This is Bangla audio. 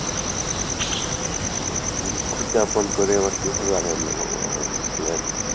দুঃখ কে আপন করে আবার কীভাবে আনন্দ পাবো আমি বলেন।